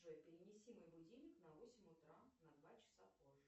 джой перенеси мой будильник на восемь утра на два часа позже